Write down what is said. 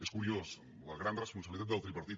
és curiós la gran responsabilitat del tripartit